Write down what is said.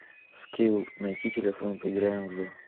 скилл найди телефон поиграем в